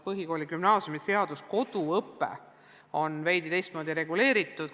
Põhikooli- ja gümnaasiumiseaduses on koduõpe veidi teistmoodi reguleeritud.